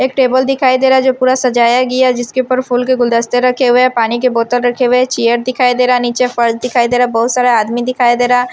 एक टेबल दिखाई दे रहा है जो पूरा सजाया गया जिसके ऊपर फूल के गुलदस्ते रखे हुए हैं पानी के बोतल रखे हुए हैं चियर दिखाई दे रहा है नीचे फर्श दिखाई दे रहा है बहुत सारा आदमी दिखाई दे रहा--